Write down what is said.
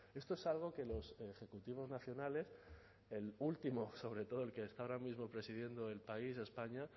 esto es algo que los ejecutivos nacionales el último sobre todo el que está ahora mismo presidiendo el país españa